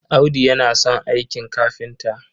Audu yana son aikin kafinta.